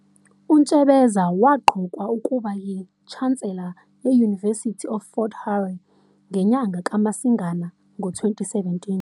UNtsebeza waqokwa ukuba yi-chancellor ye-University of Fort Hare Ngenyanga kaMasingana ngo-2017.